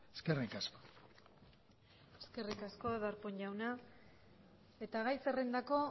eskerrik asko eskerrik asko darpón jauna eta gai zerrendako